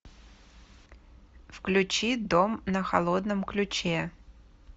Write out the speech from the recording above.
включи дом на холодном ключе